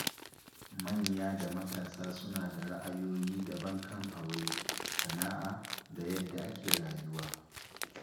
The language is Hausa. Manya da matasa suna da ra’ayoyi daban kan aure, sana’a, da yadda ake rayuwa.